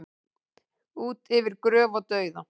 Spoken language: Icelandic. Út yfir gröf og dauða